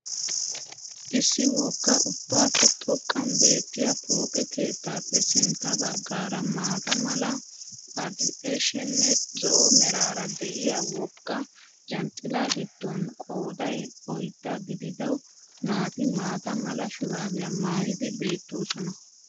Issi wogga ubbappe xoqqan beettiya pooqe keettaappe sintta bagaara maata mala adikdhshenne zo'o meraara de'iyaa wogga janxxilaa gidoon qooday oydda gidido naati maata mala shuraabiya maayidi beettoosona.